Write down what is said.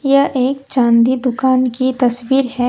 यह एक चाँदी दुकान की तस्वीर है।